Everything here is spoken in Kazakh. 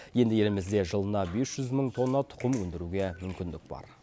енді елімізде жылына бес жүз мың тонна тұқым өндіруге мүмкіндік бар